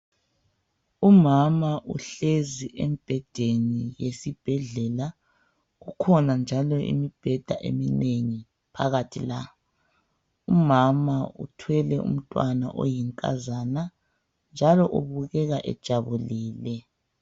Umama uhlezi embhedeni esibhedlela, kukhona njalo imibheda eminengi phakathi la. Umama uthwele umntwana oyinkazana njalo ubukeka ejabulile.